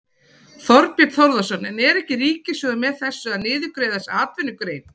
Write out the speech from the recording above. Þorbjörn Þórðarson: En er ekki Ríkissjóður með þessu að niðurgreiða þessa atvinnugrein?